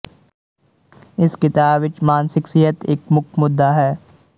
ਇਸ ਕਿਤਾਬ ਵਿਚ ਮਾਨਸਿਕ ਸਿਹਤ ਇਕ ਮੁੱਖ ਮੁੱਦਾ ਹੈ